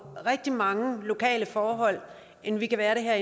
rigtig mange lokale forhold end vi er